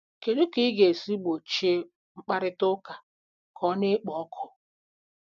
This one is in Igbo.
Kedu ka ị ga-esi gbochie mkparịta ụka ka ọ na-ekpo ọkụ?